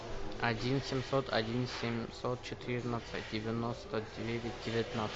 один семьсот один семьсот четырнадцать девяносто девять девятнадцать